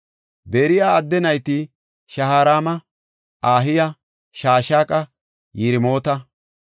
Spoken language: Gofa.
Beri7a adde nayti Shaharaama, Ahiya, Shashaqa, Yiremoota.